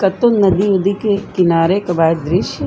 कतून नदी उदी के किनारे क बा दृश्य।